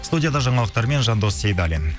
студияда жаңалықтармен жандос сейдаллин